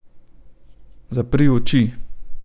Zapri oči.